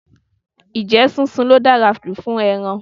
Ǹjẹ́ sísun ló dára jù fún ẹran?